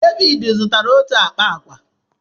Devid zụtara otu akpa agwa.